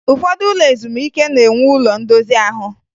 Ụfọdụ ụlọ ezumike na-enwe ụlo ndozi ahụ